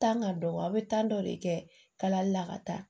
Tan ka dɔgɔ aw bɛ tan dɔ de kɛ kalali la ka taa